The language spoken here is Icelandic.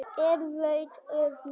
er vaun öfund